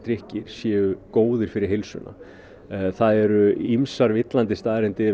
kaffidrykkir séu góðir fyrir heilsuna það eru ýmsar villandi staðreyndir